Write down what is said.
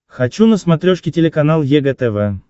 хочу на смотрешке телеканал егэ тв